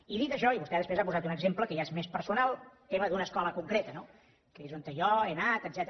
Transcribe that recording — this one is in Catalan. i dit això i vostè després ha posat un exemple que ja és més personal tema d’una escola concreta no que és on jo he anat etcètera